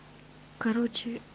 короче